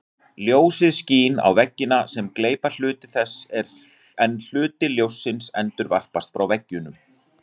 Ljósið skín á veggina sem gleypa hluta þess en hluti ljóssins endurvarpast frá veggjunum.